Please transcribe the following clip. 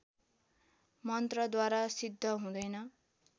मन्त्रद्वारा सिद्ध हुँदैन